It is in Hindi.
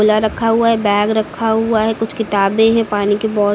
पिला रखा हुआ है बैग रखा हुआ है कुछ किताबें हैं पानी की बो--